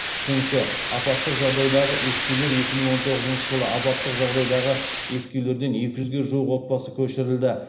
үшінші апаттық жағдайдағы ескі үйлер екі мың он тоғызыншы жылы апаттық жағдайдағы ескі үйлерден екі жүзге жуық отбасы көшірілді